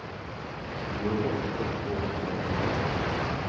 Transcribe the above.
Vi jobber og står på og klager lite.